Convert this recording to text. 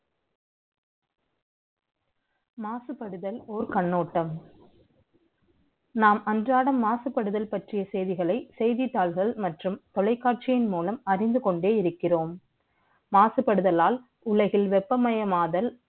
மாசுபடுதல் ஒரு கண்ணோட்டம் நாம் அன்றாட ஆசைப்படுதல் பற்றிய செய்திகளை செய்தித்தாள்கள் மற்றும் தொலைக்காட்சி மூலம் அறிந்து கொண்டிருக்கிறோம் மாசுபடுதல உலகில் வெப்பமயமாதல்